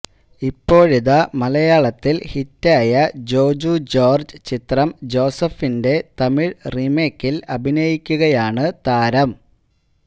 ഇപ്പോഴിതാ മലയാളത്തിൽ ഹിറ്റായ ജോജു ജോർജ് ചിത്രം ജോസഫിന്റെ തമിഴ് റീമേക്കിൽ അഭിനയിക്കുകയാണ് താരം